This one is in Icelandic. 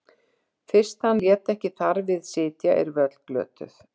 Fyrst hann lét ekki þar við sitja erum við öll glötuð.